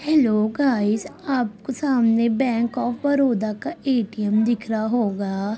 Hello guys आपको सामने bank of Baroda का ए.टी.एम. दिख रहा होगा